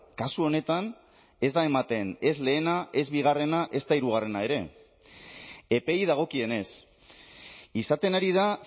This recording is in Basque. kasu honetan ez da ematen ez lehena ez bigarrena ezta hirugarrena ere epeei dagokienez izaten ari da